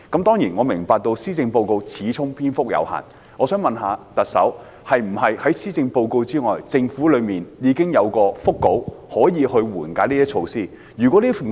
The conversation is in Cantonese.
當然，我明白施政報告始終篇幅有限，我想問特首，在施政報告之外，政府是否已經有緩解措施的腹稿？